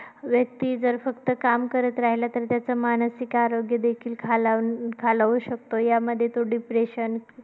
व्यक्ती जर फक्त काम करत राहिला तर त्याचा मानसिक आरोग्य देखील खालावू खालावू शकत. यामध्ये तो depression